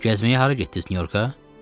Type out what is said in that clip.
Gəzməyə hara getdiz Nyu-Yorka?